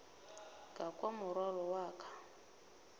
ka kwa morwalo wa ka